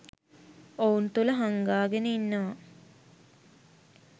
ඔවුන් තුල හංගාගෙන ඉන්නවා.